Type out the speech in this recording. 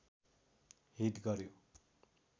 hit गर्‍यो